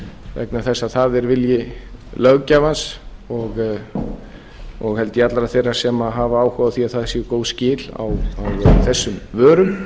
vegna þess að það er vilji löggjafans og held ég allra þeirra sem hafa áhuga á að það séu góð skil á þessum vörum